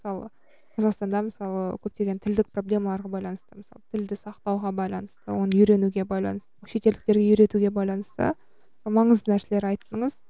мысалы қазақстанда мысалы көптеген тілдік проблемаларға байланысты мысалы тілді сақтауға байланысты оны үйренуге байланысты шетелдіктерге үйретуге байланысты маңызды нәрселер айттыңыз